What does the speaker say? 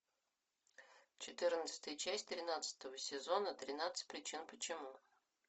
четырнадцатая часть тринадцатого сезона тринадцать причин почему